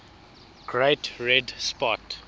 great red spot